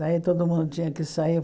Daí todo mundo tinha que sair.